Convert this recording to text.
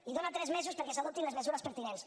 i dona tres mesos perquè s’adoptin les mesures pertinents